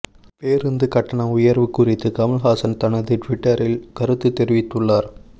பேருந்து கட்டண உயர்வு குறித்து கமல்ஹாசன் தனது ட்விட்டரில் கருத்து தெரிவித்துள்ளார்